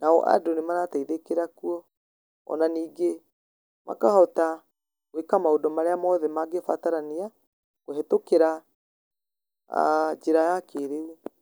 nao andũ nĩ marateithĩkĩra kuo. Ona ningĩ makahota gwĩka maũndũ marĩa mothe mangĩbatarania, kũhetũkĩra njĩra ya kĩrĩu.